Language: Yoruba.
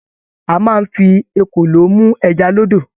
A máa n fí ekòló mú ẹja l'ódò.